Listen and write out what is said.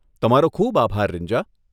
તમારો ખૂબ આભાર રીન્જા.